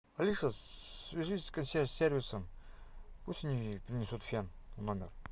алиса свяжись с консьерж сервисом пусть они принесут фен в номер